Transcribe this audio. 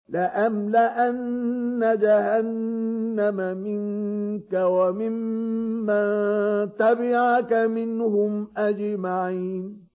لَأَمْلَأَنَّ جَهَنَّمَ مِنكَ وَمِمَّن تَبِعَكَ مِنْهُمْ أَجْمَعِينَ